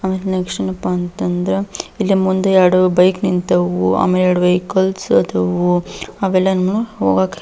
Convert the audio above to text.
ಆಮೇಲೆ ನೆಕ್ಸ್ಟ್ ಏನಪ್ಪಾ ಅಂತಂದ್ರ ಇಲ್ಲಿ ಮುಂದೆ ಎರಡು ಬೈಕ್ ನಿಂತವು ಆಮೇಲೆ ಎರಡ್ ವೆಹಿಕಲ್ಸ್ ಆದವು ಹೋಗಾಕ .